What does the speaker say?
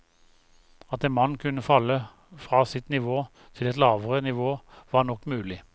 At en mann kunne falle fra sitt nivå til et lavere nivå var nok mulig.